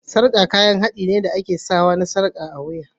Sarƙa kayan haɗi ne na kayan ado da ake sawa a wuya.